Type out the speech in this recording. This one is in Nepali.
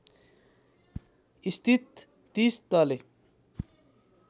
स्थित ३० तले